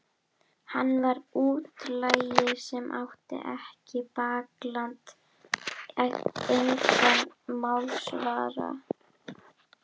Hann var útlagi sem átti ekkert bakland, engan málsvara.